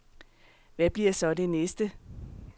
Hvad bliver så det næste?